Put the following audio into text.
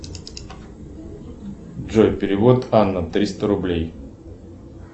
джой перевод анна триста рублей